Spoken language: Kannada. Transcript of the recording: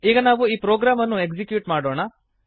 ಈಗ ನಾವು ಈ ಪ್ರೋಗ್ರಾಮನ್ನು ಎಕ್ಸೀಕ್ಯೂಟ್ ಮಾಡೋಣ